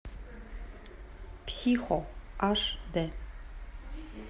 психо аш дэ